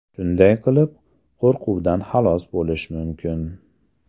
Shunday qilib, qo‘rquvdan xalos bo‘lish mumkin.